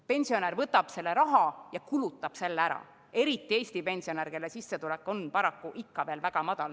Pensionär võtab selle raha ja kulutab ära, eriti Eesti pensionär, kelle sissetulek on paraku ikka veel väga madal.